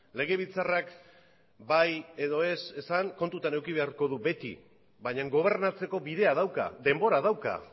legebiltzarrak bai edo ez esan kontutan eduki beharko du beti baina gobernatzeko bidea dauka denbora dauka